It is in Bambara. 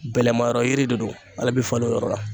Bɛlɛma yɔrɔ yiri de don ale bi falen o yɔrɔ la.